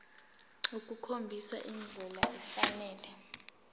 ukukhombisa indlela efanele